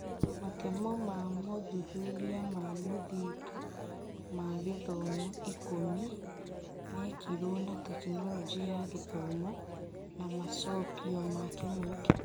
Matemo ma mothuthuria ma mũthingi ma gĩthomo ikũmi mekirwo wa Tekinoronjĩ ya Gĩthomo na macokĩo ma kĩng'ũki.